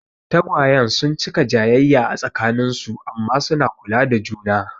Tagwayen sun cika jayayya a tsakanin su amma suna kula da juna.